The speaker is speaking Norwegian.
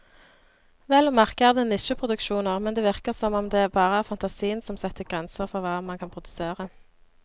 Vel å merke er det nisjeproduksjoner, men det virker som om det bare er fantasien som setter grenser for hva man kan produsere.